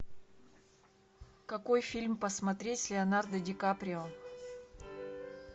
какой фильм посмотреть с леонардо ди каприо